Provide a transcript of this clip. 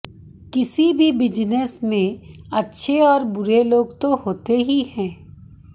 किसी भी बिजनस में अच्छे और बुरे लोग तो होते ही हैं